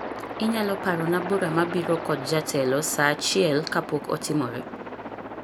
Inyalo parona bura mabiro kod jatelo saa achiel kapok otimore